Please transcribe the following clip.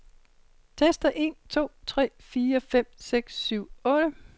Tester en to tre fire fem seks syv otte.